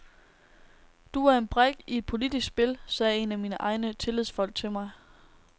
Du er en brik i et politisk spil, sagde en af mine egne tillidsfolk til mig.